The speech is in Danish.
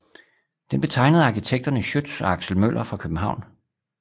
Den blev tegnet af arkitekterne Schiøtz og Axel Møller fra København